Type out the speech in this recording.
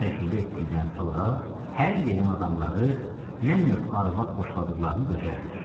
Çox təcrübə etdikdən sonra hər yerin adamları nə növ arvad xoşladıqlarını gözəl bilir.